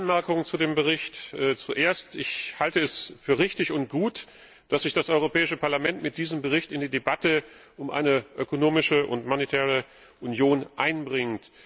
Zwei kurze Anmerkungen zu dem Bericht Zuerst halte ich es für richtig und gut, dass sich das Europäische Parlament mit diesem Bericht in die Debatte um eine ökonomische und monetäre Union einbringt.